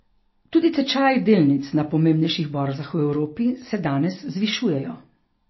Tudi tečaji delnic na pomembnejših borzah v Evropi se danes zvišujejo.